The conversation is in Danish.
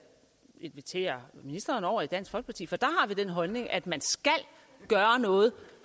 invitere ministeren over i dansk folkeparti for der har vi den holdning at man skal gøre noget